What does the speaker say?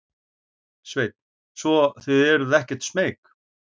Sveinn: Svo þið eruð ekkert smeyk?